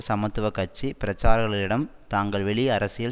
சமத்துவ கட்சி பிரச்சாரகர்களிடம் தாங்கள் வெளி அரசியல்